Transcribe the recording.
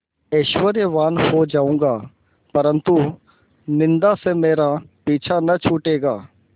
ऐश्वर्यवान् हो जाऊँगा परन्तु निन्दा से मेरा पीछा न छूटेगा